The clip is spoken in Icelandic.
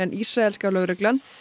ísraelska lögreglan